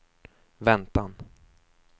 väntan